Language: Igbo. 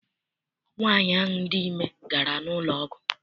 Nwaanyi ahụ dị ime gara n'ụlọ ọgwụ.